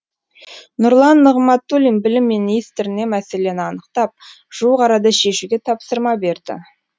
нұрлан нығматулин білім министріне мәселені анықтап жуық арада шешуге тапсырма берді